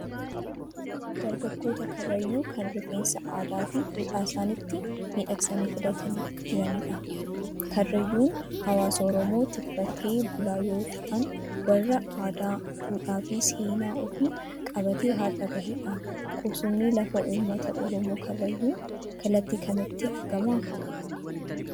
Dargaggoota Karrayyuu kan rifeensa aadaa fi duudhaa isaaniitti miidhagsanii filatanii jiranidha. Karrayyuun hawaasa Oromoo tikfatee bultoota yoo ta'an, warra aadaa, duudhaa fi seenaa ofii qabatee har'a gahedha. Qubsumni lafaa uummata Oromoo Karrayyuu kallattii kamitti argama?